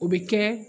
O bɛ kɛ